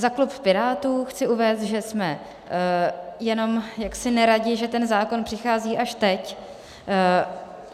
Za klub Pirátů chci uvést, že jsme jenom jaksi neradi, že ten zákon přichází až teď.